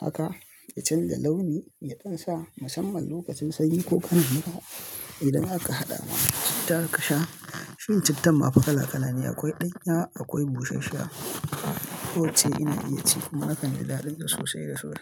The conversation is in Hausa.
Haka, ya canja launi, ya ƙunsa musamman lokacin sanyi ko kana mura. Idan aka haɗa mai citta aka sha, cin cittan ma fa kala kala ne akwai ɗanyar akwai bushashsha. Ko ce ina iya ci kuma hakan ya daɗi sosai da so.